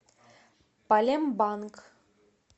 палембанг